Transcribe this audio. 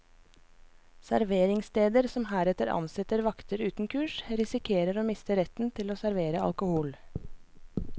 Serveringssteder som heretter ansetter vakter uten kurs, risikerer å miste retten til å servere alkohol.